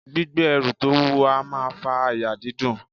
Gbígbé ẹrù to wuwo a maa fa àyà dídùn